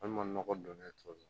ma nɔgɔ don ne cogo la